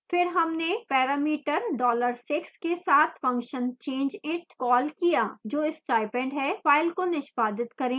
फिर हमने parameter dollar 6 के साथ function changeit कॉल किया जो stipend है फाइल को निष्पादित करें